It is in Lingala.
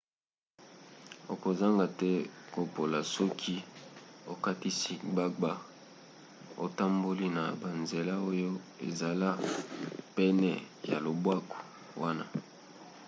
okozanga te kopola soki okatisi gbagba otamboli na banzela oyo ezala pene ya lobwaku wana